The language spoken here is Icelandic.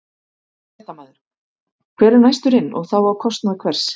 Fréttamaður: Hver er næstur inn og þá á kostnað hvers?